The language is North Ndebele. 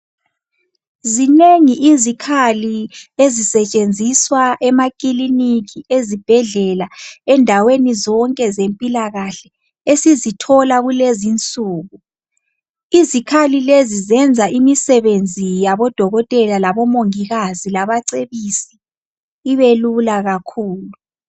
Zinengi izikhali ezisetshenziswa emakiliniki, ezibhedlela, endaweni zonke zempilakahle esizithola kulezinsuku. Izikhali lezi zenza imisebenzi yabo Dokotela laboMongikazi labacebisi ibelula kakhulu.